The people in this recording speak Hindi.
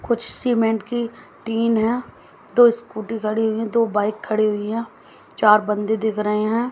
कुछ सीमेंट की टीन हैं दो स्कूटी खड़ी हुई हैं दो बाइक खड़ी हुई हैं चार बंदे दिख रहे हैं।